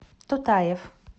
тутаев